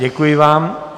Děkuji vám.